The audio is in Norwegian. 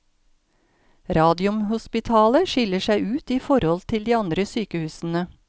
Radiumhospitalet skiller seg ut i forhold til de andre sykehusene.